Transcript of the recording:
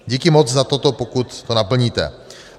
Díky moc za toto, pokud to naplníte.